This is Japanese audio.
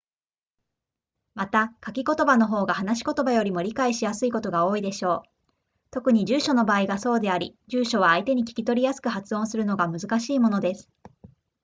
また書き言葉の方が話し言葉よりも理解しやすいことが多いでしょう特に住所の場合がそうであり住所は相手に聞き取りやすく発音するのが難しいものです